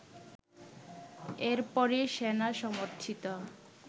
এর পরই সেনা-সমর্থিত